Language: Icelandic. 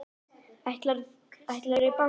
Ætlarðu í bankann?